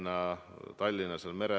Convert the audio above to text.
Hea peaminister!